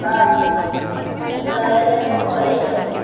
ആഹ് അത് കയറിയപ്പോ കൊയഞ്ഞു.